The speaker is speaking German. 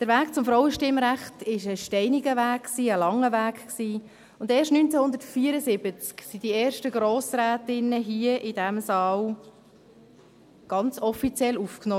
Der Weg zum Frauenstimmrecht war ein steiniger, langer Weg, und erst 1974 wurden die ersten Grossrätinnen ganz offiziell hier in diesem Saal aufgenommen: